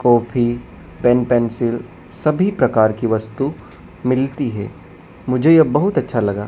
Copy pen pencil सभी प्रकार की वस्तु मिलती है मुझे ये बहुत अच्छा लगा।